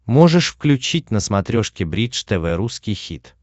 можешь включить на смотрешке бридж тв русский хит